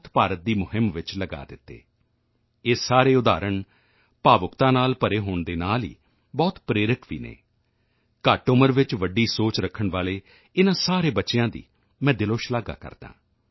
ਮੁਕਤ ਭਾਰਤ ਦੀ ਮੁਹਿੰਮ ਵਿੱਚ ਲਗਾ ਦਿੱਤੇ ਇਹ ਸਾਰੇ ਉਦਾਹਰਣ ਭਾਵੁਕਤਾ ਨਾਲ ਭਰੇ ਹੋਣ ਦੇ ਨਾਲ ਹੀ ਬਹੁਤ ਪ੍ਰੇਰਕ ਵੀ ਹਨ ਘੱਟ ਉਮਰ ਵਿੱਚ ਵੱਡੀ ਸੋਚ ਰੱਖਣ ਵਾਲੇ ਇਨ੍ਹਾਂ ਸਾਰੇ ਬੱਚਿਆਂ ਦੀ ਮੈਂ ਦਿਲੋਂ ਸ਼ਲਾਘਾ ਕਰਦਾ ਹਾਂ